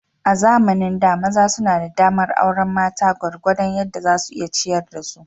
A zamanin da, maza suna da damar aurar mata gwargwadon yadda za su iya ciyar da su.